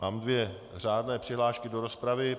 Mám dvě řádné přihlášky do rozpravy.